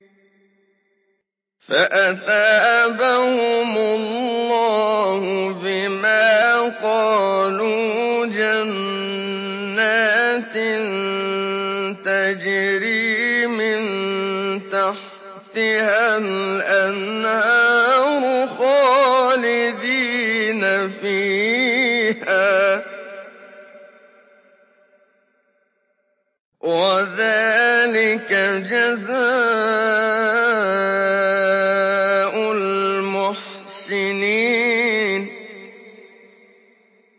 فَأَثَابَهُمُ اللَّهُ بِمَا قَالُوا جَنَّاتٍ تَجْرِي مِن تَحْتِهَا الْأَنْهَارُ خَالِدِينَ فِيهَا ۚ وَذَٰلِكَ جَزَاءُ الْمُحْسِنِينَ